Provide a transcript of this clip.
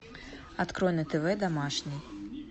открой на тв домашний